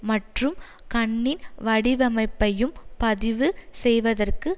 மற்றும் கண்ணின் வடிவமைப்பையும் பதிவு செய்வதற்கு